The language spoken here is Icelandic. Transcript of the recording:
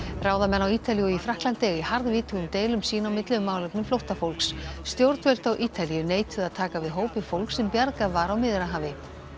ráðamenn á Ítalíu og í Frakkalandi eiga í harðvítugum deilum sín á milli um málefni flóttafólks stjórnvöld á Ítalíu neituðu að taka við hópi fólks sem bjargað var á Miðjarðarhafi